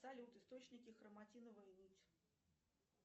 салют источники хроматиновая нить